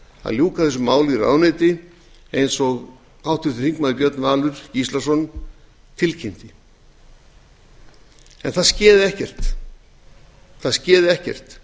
að ljúka þessu máli í ráðuneyti eins og háttvirtur þingmaður björn valur gíslason tilkynnti en það sagði ekkert